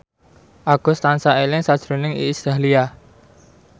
Agus tansah eling sakjroning Iis Dahlia